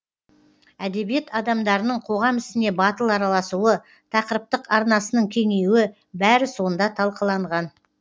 әдебиет адамдарының қоғам ісіне батыл араласуы тақырыптық арнасының кеңеюі бәрі сонда талқыланған